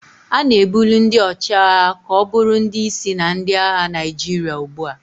A na-ebuli ndị ọchịagha ka ọ bụrụ ndị isi na ndị agha Naijiria ugbu a